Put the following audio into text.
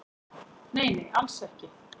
Nei nei, alls ekki